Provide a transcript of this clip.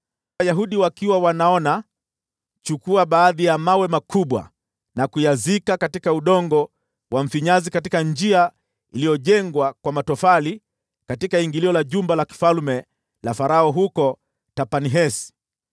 “Wayahudi wakiwa wanaona, chukua baadhi ya mawe makubwa na kuyazika katika udongo wa mfinyanzi katika njia iliyojengwa kwa matofali katika ingilio la jumba la kifalme la Farao huko Tahpanhesi.